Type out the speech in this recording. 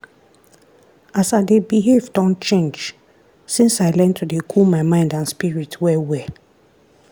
as i dey behave don change since i learn to dey cool my mind and spirit well well.